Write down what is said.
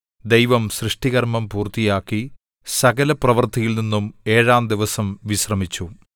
ദൈവം സൃഷ്ടി കർമ്മം പൂർത്തിയാക്കി സകലപ്രവൃത്തിയിൽനിന്നും ഏഴാം ദിവസം വിശ്രമിച്ചു